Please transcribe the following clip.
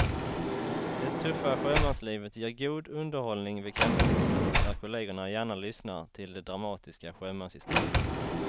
Det tuffa sjömanslivet ger god underhållning vid kaffebordet där kollegerna gärna lyssnar till de dramatiska sjömanshistorierna.